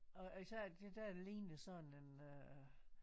Og og så er der det der der ligner sådan en øh